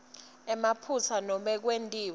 emaphutsa nanobe kwetiwe